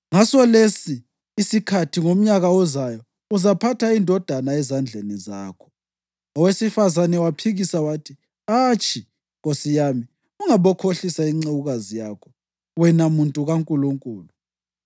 “Ngasolesi isikhathi ngomnyaka ozayo uzaphatha indodana ezandleni zakho.” Owesifazane waphikisa wathi, “Atshi, nkosi yami, ungabokhohlisa incekukazi yakho, wena muntu kaNkulunkulu!”